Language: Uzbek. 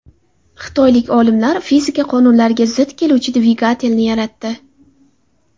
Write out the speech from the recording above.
Xitoylik olimlar fizika qonunlariga zid keluvchi dvigatelni yaratdi.